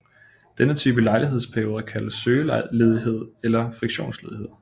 Denne type ledighedsperioder kaldes søgeledighed eller friktionsledighed